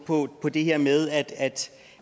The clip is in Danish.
på på det her med